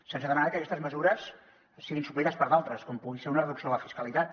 se’ns ha demanat que aquestes mesures siguin suplertes per altres com pugui ser una reducció de la fiscalitat